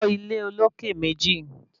Kọ́ ilé olókè méjì